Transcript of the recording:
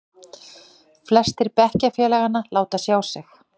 Flestir bekkjarfélaganna láta sjá sig.